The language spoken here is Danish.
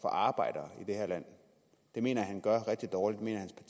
arbejdere i det her land det mener jeg han gør rigtig dårligt